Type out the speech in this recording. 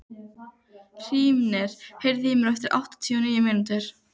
Hrímnir, heyrðu í mér eftir áttatíu og níu mínútur.